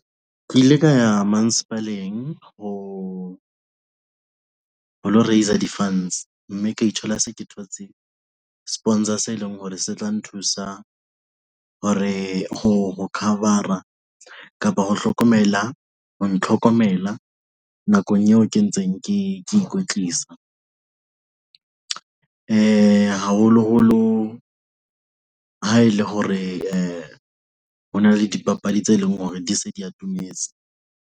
Ke ile ka ya ho, ho lo raiser di-funds mme ke ithola se ke thotse Sponsor se leng hore se tla nthusa hore ho cover-ra kapa ho hlokomela ho ntlhokomela nakong eo ke ntseng ke ikwetlisa. Haholo-holo ha e le hore ho na le dipapadi tse leng hore di se di atometse.